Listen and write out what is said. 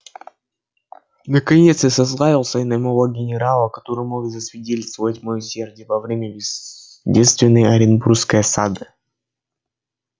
наконец я сослался и на моего генерала который мог засвидетельствовать моё усердие во время бедственной оренбургской осады